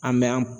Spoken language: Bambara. An bɛ an